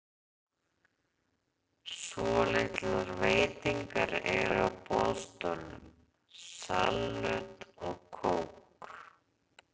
Svolitlar veitingar eru á boðstólum, salöt og kók.